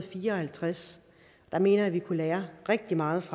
fire og halvtreds jeg mener vi kunne lære rigtig meget